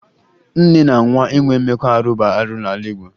Nne na nwa inwe mmekọ bụ arụ n'ala Igbo